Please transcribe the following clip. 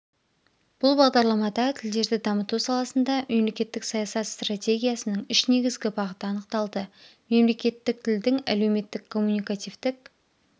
бұл бағдарламада тілдерді дамыту саласында мемлекеттік саясат стратегиясының үш негізгі бағыты анықталды мемлекеттік тілдің әлеуметтік коммуникативтік